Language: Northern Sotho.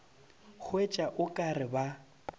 hwetša o ka re ba